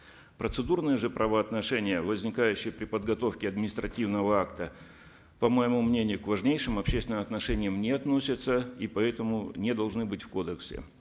процедурные же правоотношения возникающие при подготовке административного акта по моему мнению к важнейшим общественным отношениям не относятся и поэтому не должны быть в кодексе